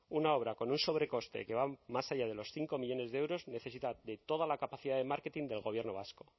una obra con un sobrecoste que va más allá de los cinco millónes de euros necesita de toda la capacidad de marketing del gobierno vasco